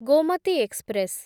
Gomati express